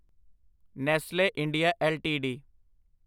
Nestle India LTD